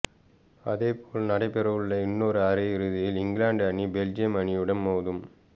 அதேபோல் நடைபெறவுள்ள இன்னொரு அரையிறுதியில் இங்கிலாந்து அணி பெல்ஜியம் அணியுடன் மோதும்